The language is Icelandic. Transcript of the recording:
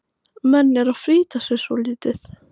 Menn eru að flýta sér svolítið.